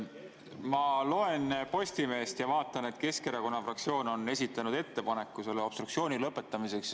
Ma loen Postimehest, et Keskerakonna fraktsioon on esitanud ettepaneku selle obstruktsiooni lõpetamiseks.